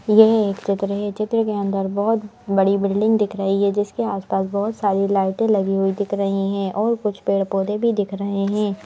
यह एक चित्र है चित्र के अंदर बहोत बड़ी बिल्डिंग दिख रही है जिसके आसपास बहोत सारी लाइटे लगी हुई दिख रही है और कुछ पेड़ पौधे भी दिख रहे हैं।